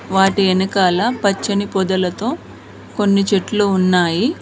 వాటి ఎనకాల పచ్చని పొదలతో కొన్ని చెట్లు ఉన్నాయి.